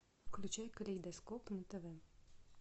включай калейдоскоп на тв